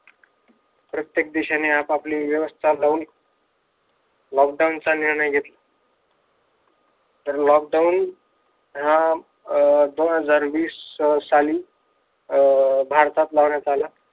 प्रत्येक देशाने आपापली व्यवस्था लावून lockdown चा निर्णय घेतला. तर lockdown हा दोन हजार वीस साली अं भारतात लावण्यात आला.